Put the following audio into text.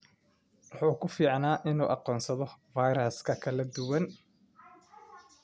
Wuxuu ku fiicnaa inuu aqoonsado fayraska kala duwan.